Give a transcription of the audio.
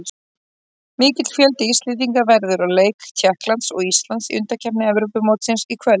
Mikill fjöldi Íslendinga verður á leik Tékklands og Íslands í undankeppni Evrópumótsins í kvöld.